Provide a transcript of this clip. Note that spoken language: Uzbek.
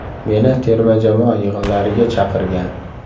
Meni terma jamoa yig‘inlariga chaqirgan.